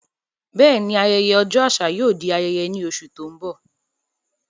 Bẹ́ẹ̀ni, ayẹyẹ ọjọ́ àṣà yóò di ayẹyẹ ní oṣù tó ń bọ̀.